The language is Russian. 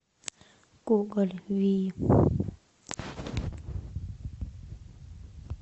гоголь вий